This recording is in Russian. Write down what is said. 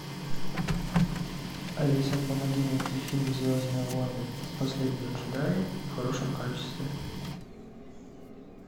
алиса помоги найти фильм звездные войны последние джедаи в хорошем качестве